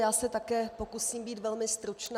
Já se také pokusím být velmi stručná.